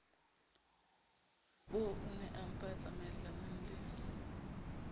bo oonaempa a tsamaellanang le